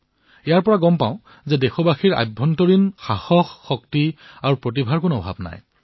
ই আমাক কয় যে দেশবাসীৰ অন্তৰত শক্তি আৰু প্ৰতিভা কোনোগুণেই কম নহয়